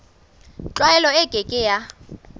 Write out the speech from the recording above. tlwaelo e ke ke ya